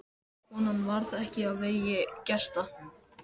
Konan varð ekki á vegi gesta.